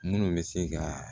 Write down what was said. Minnu bɛ se ka